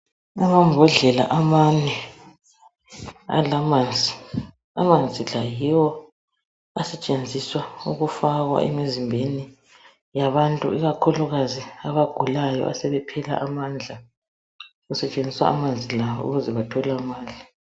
Amambhodlela amane alamanzi. Amanzi la yiwo asetshenziswa ukufakwa emizimbeni yabantu, ikakhulukazi abagulayo asebephela amandla. Kusetshenziswa amanzi lawa ukuze bathole amandla.